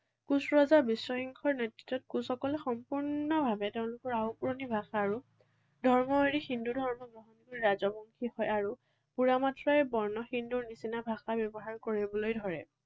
কোচ ৰজা বিশ্বসিংহৰ নেতৃত্বত কোচসকলে সম্পূৰ্ণভাৱে তেওঁলোকৰ আউপুৰণি ভাষা আৰু ধৰ্ম এৰি হিন্দু ধৰ্ম গ্ৰহণ কৰি ৰাজবংশী হয় আৰু পুৰামাত্ৰাই বৰ্ণ হিন্দুৰ নিচিনা ভাষা ব্যৱহাৰ কৰিবলৈ ধৰে।